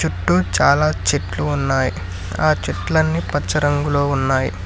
చుట్టూ చాలా చెట్లు ఉన్నాయి ఆ చెట్లన్నీ పచ్చ రంగులో ఉన్నాయి.